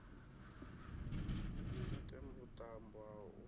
ni ite vhuṱambo ha u